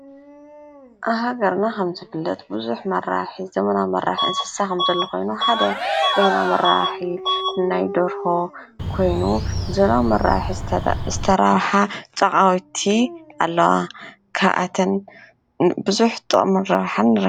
ኣብ ሃገርና ከምዝፍለጥ ብዙሕ መራብሒ ዘመናዊ መራብሒ እንስሳ ከምዘሎ ኮይኑ ሓደ ዘመናዊ መራብሒ ናይ ዶርሆ ኮይኑ ብዘመናዊ መራብሒ ዝተራበሓ ጨቓዊቲ ኣለዋ። ካብኣተን ብዙሕ ጥቅሚ ረብሓን ንረክብ።